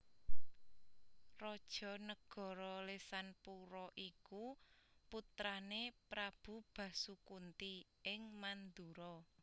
Raja nagara Lesanpura iku putrané Prabu Basukunti ing Mandura